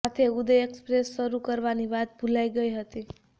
સાથે ઉદય એક્સપ્રેસ શરુ કરવાની વાત ભૂલાઈ ગઈ હતી